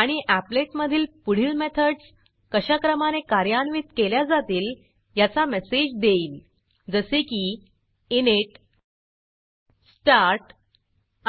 आणि applet applet मधील पुढील मेथडस कशा क्रमाने कार्यान्वित केल्या जातील याचा मेसेज देईल जसे की init start